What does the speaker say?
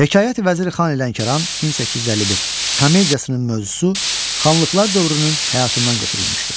Hekayəti Vəziri Xani Lənkəran (1851) komediyasının mövzusu xanlıqlar dövrünün həyatından götürülmüşdür.